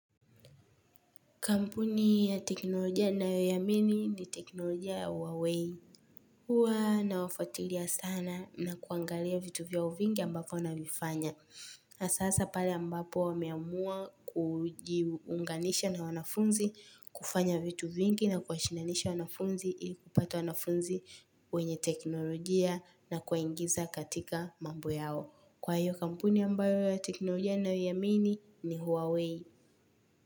Kampuni ya teknolojia ninayoiamini ni teknolojia ya Huawei. Huwa nawafuatilia sana na kuangalia vitu vyao vingi ambavyo wanavifanya. Na sasa pale ambapo wameamua kujiunganisha na wanafunzi, kufanya vitu vingi na kuashinanisha wanafunzi ili kupata wanafunzi wenye teknolojia na kuwaingiza katika mambo yao. Kwa hiyo kampuni ambayo ya teknolojia ninayoiamini ni Huawei.